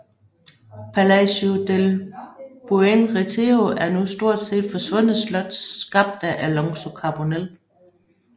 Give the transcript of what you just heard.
Palacio del Buen Retiro er et nu stort set forsvundet slot skabt af Alonso Carbonel